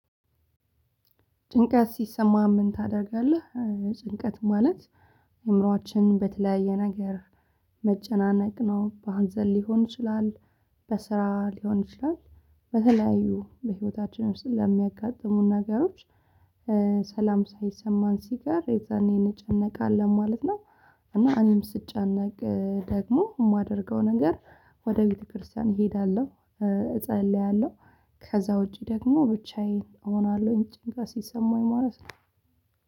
ጭንቀት ሲሰማህ ምን ታደርጋለህ? ጭንቀት ማለት እምሮአችን በተለያየ ነገር መጨናነቅ ነው በሀንዘል ሊሆን ይችላል በስራ ሊሆን ይችላል በተለያዩ በህይወታችን ውስጥ ለሚያጋጥሙን ነገሮች። ሰላም ሳይሰማን ሲቀር የዛኔ እንጨነቃለን ማለት ነው። እና እኔም ስጨነቅ ደግሞ የማደርገው ነገር ወደ ቤተክርስቲያን እሄዳለሁ። እጸልያለሁ ከዛ ውጪ ደግሞ ብቻዬን እሆናለሁኝ። ጭንቀት ሲሰማኝ ማለት ነው